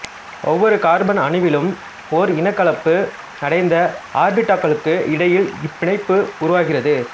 ஒவ்வொரு கார்பன் அணுவிலும் ஓர் இனக்கலப்பு அடைந்த ஆர்பிட்டால்களுக்கு இடையில் இப்பிணைப்பு உருவாகிறது